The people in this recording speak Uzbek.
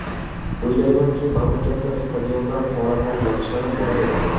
O‘ylaymanki, mamlakatda stadionlar holatlari yaxshilanib boraveradi.